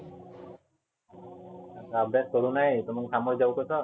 अभ्यास करु नाही तर समोर जाऊ कसं?